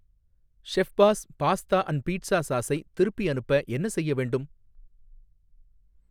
Chef's pasta and pizza சாஸை திருப்பி அனுப்ப என்ன செய்ய வேண்டும்?